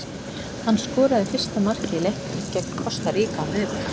Hann skoraði fyrsta markið í leiknum gegn Kosta Ríka á miðvikudag.